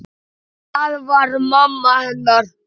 Það var mamma hennar.